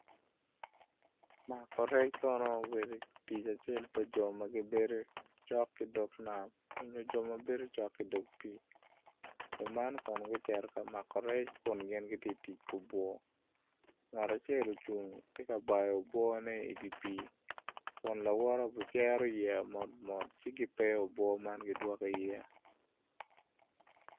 Mako rec kono obedo tic acel pa jo ma gibedo cok ki dog nam onyo jo ma gibedo cok ki dog pii jo man kono gucito ka mako rec kun gin gitye ka tic ki obwor ngat acel tye ka bayo obworne idye pii kun lawote obicero yeya mot mot kakioeyo obwor man gidwoko i iye.